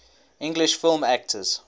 english film actors